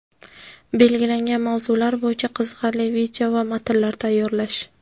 belgilangan mavzular bo‘yicha qiziqarli video va matnlar tayyorlash;.